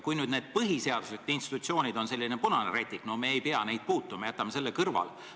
Kui need põhiseaduslikud institutsioonid on selline punane rätik, siis ei pea neid puutuma, jätame need kõrvale.